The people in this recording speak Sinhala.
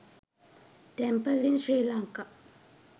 temple in sri lanka